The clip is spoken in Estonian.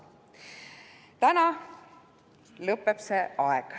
Täna see aeg lõpeb.